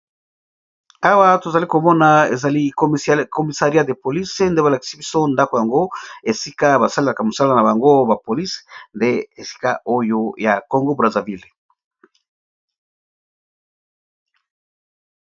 Awa tozali komona ezali commissariat de police, nde ba lakisi biso ndako yango esika ba salelaka mosala na bango ba police nde esika oyo ya Congo Brazzaville.